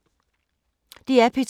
DR P2